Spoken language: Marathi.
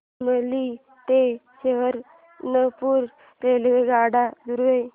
शामली ते सहारनपुर रेल्वेगाड्यां द्वारे